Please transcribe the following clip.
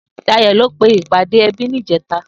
Dayo lò pé ipàdé èbí nijètâ